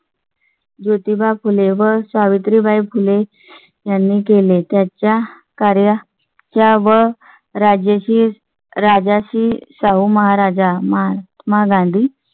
ज्योतिबा फुले व सावित्रीबाई फुले यांनी केले. त्यांच्या कार्य व राजश्री राजाची शाहू महाराज महात्मा गांधी.